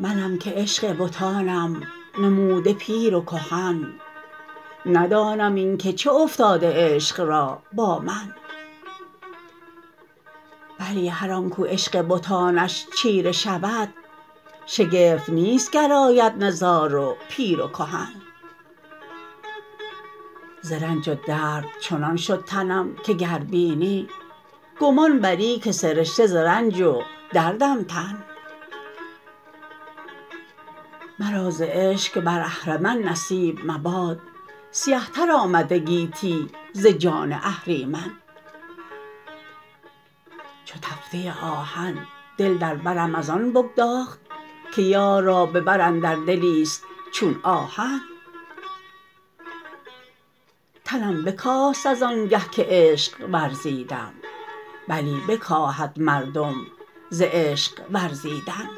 منم که عشق بتانم نموده پیر و کهن ندانم اینکه چه افتاده عشق را با من بلی هر آنکو عشق بتانش چیره شود شگفت نیست گر آید نزار و پیر و کهن ز رنج و درد چنان شد تنم که گر بینی گمان بری که سرشته ز رنج و دردم تن مرا ز عشق که بر اهرمن نصیب مباد سیه تر آمده گیتی ز جان اهریمن چو تفته آهن دل در برم از آن بگداخت که یار را به بر اندر دلی است چون آهن تنم بکاست از آنگه که عشق ورزبدم بلی بکاهد مردم ز عشق ورزبدن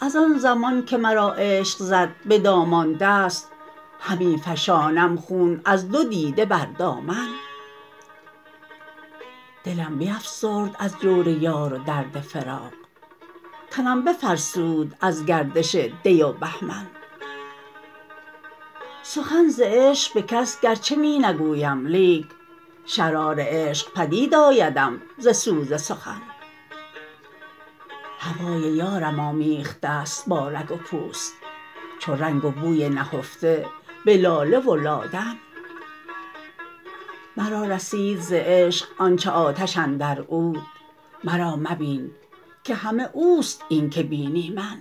ازآن زمان که مرا عشق زد به دامان دست همی فشانم خون از دو دیده بر دامن دلم بیفسرد از جور یار و درد فراق تنم بفرسود از گردش دی و بهمن سخن ز عشق به کس گرچه می نگویم لیک شرار عشق پدید آیدم ز سوز سخن هوای یارم آمیخته است با رگ و پوست چو رنگ و بوی نهفته به لاله و لادن مرا رسید ز عشق آنچه ز آتش اندر عود مرا مبین که همه اوست اینکه بینی من